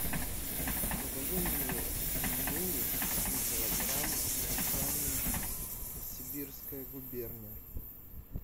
закажи мне пельмени один килограмм название сибирская губерния